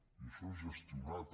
i això és gestionar també